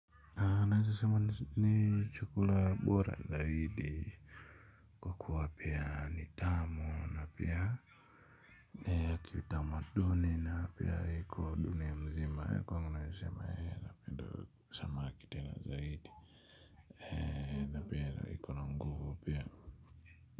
Naeza sema ni chakula bora zaidi. Kuwa pia ni tamu na pia ni ya kiutamaduni na pia iko dunia mzima ya kwa wanguna yasema ee na pendo samaki tena zaidi. Eee na pendo iku na nguvu pia.